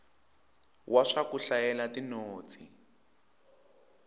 wa swa ku hlayela tinotsi